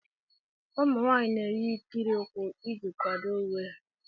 Ụmụ nwaanyị na-eyi ikiri ụkwụ iji kwado uwe ha.